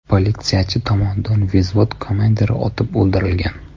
Politsiyachi tomonidan vzvod komandiri otib o‘ldirilgan.